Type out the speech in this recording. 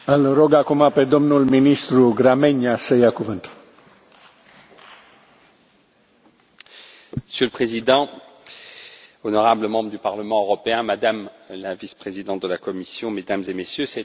Monsieur le Président, honorables membres du Parlement européen, Madame la Vice présidente de la Commission, Mesdames et Messieurs, c'est un grand honneur pour moi de représenter la présidence luxembourgeoise du Conseil aujourd'hui, ici,